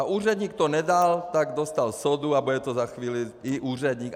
A úředník to nedal, tak dostal sodu a bude to za chvíli i úředník.